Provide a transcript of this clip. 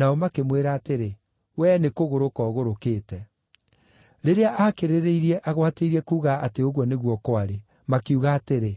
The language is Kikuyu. Nao makĩmwĩra atĩrĩ, “Wee nĩ kũgũrũka ũgũrũkĩte.” Rĩrĩa aakĩrĩrĩirie agwatĩirie kuuga atĩ ũguo nĩguo kwarĩ, makiuga atĩrĩ,